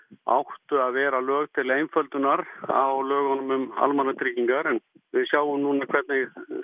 áttu að vera til einföldunar á lögunum um almannatryggingar en við sjáum núna hvernig